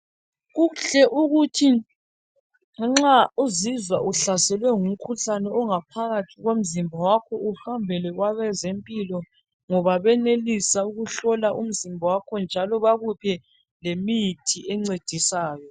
Kuhle ukuthi nxa uzizwa uhlaselwe ngumkhuhlane ongaphakathi komzimba wakho uhambele kwabazempilo ngoba benelisa ukuhlola umzimba yakho njalo bakuphe lemithi encedisayo.